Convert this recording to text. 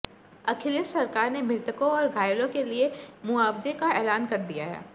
अखिलेश सरकार ने मृतकों और घायलों के लिए मुआवजे का ऐलान कर दिया है